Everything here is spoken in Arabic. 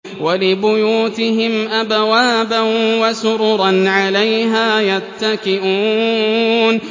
وَلِبُيُوتِهِمْ أَبْوَابًا وَسُرُرًا عَلَيْهَا يَتَّكِئُونَ